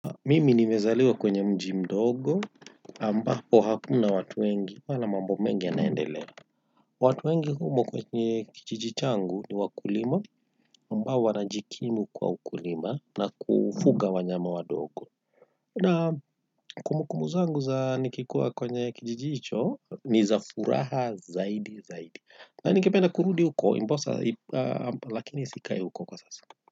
Mimi nimezaliwa kwenye mji mdogo, ambapo hakuna watu wengi, wala mambo mengi yanaendelea. Watu wengi humo kwenye kijiji changu ni wakulima, ambao wanajikimu kwa ukulima na kufuga wanyama wadogo. Na kumbu kumbu zangu za nikikua kwenye kijiji hicho, ni za furaha zaidi zaidi. Na ningependa kurudi uko, ndiposa, lakini sikai huko kwa sasa.